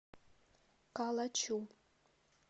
калачу